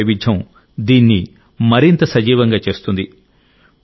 సంగీత వైవిధ్యం దీన్ని మరింత సజీవంగా చేస్తుంది